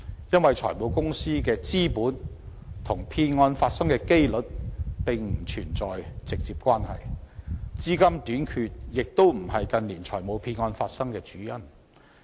因為，財務公司的資本與騙案發生的機率並不存在直接關係，資金短缺亦非近年財務騙案發生的主因。